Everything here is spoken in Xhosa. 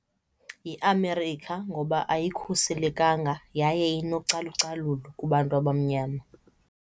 YiAmerica ngoba ayikhuselekanga yaye inocalucalulo kubantu abamnyama.